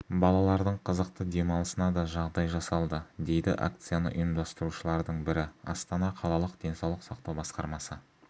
балалардың қызықты демалысына да жағдай жасалды дейді акцияны ұйымдастырушылардың бірі астана қалалық денсаулық сақтау басқармамсы